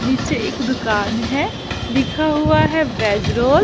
नीचे एक दुकान है लिखा हुआ है वेज रोल --